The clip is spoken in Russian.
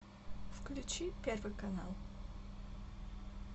включи первый канал